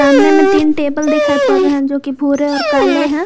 सामने में तीन टेबल दिखाई पड़ रहे जो कि भूरे और काले हैं।